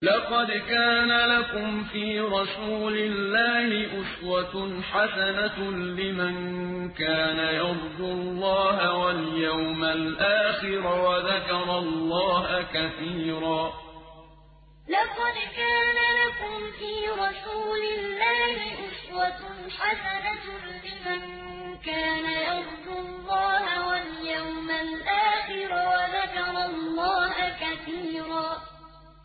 لَّقَدْ كَانَ لَكُمْ فِي رَسُولِ اللَّهِ أُسْوَةٌ حَسَنَةٌ لِّمَن كَانَ يَرْجُو اللَّهَ وَالْيَوْمَ الْآخِرَ وَذَكَرَ اللَّهَ كَثِيرًا لَّقَدْ كَانَ لَكُمْ فِي رَسُولِ اللَّهِ أُسْوَةٌ حَسَنَةٌ لِّمَن كَانَ يَرْجُو اللَّهَ وَالْيَوْمَ الْآخِرَ وَذَكَرَ اللَّهَ كَثِيرًا